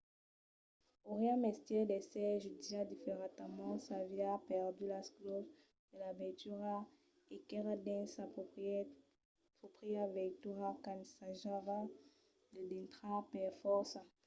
auriá mestièr d'èsser jutjat diferentament s'aviá perdut las claus de la veitura e qu'èra dins sa pròpria veitura qu'ensajava de dintrar per fòrça